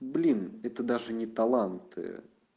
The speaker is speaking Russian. блин это даже не таланты